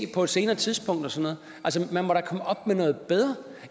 på et senere tidspunkt og sådan noget